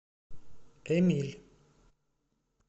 эмиль